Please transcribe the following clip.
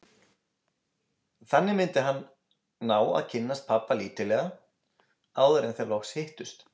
Þannig myndi hann ná að kynnast pabba lítillega áður en þeir loks hittust.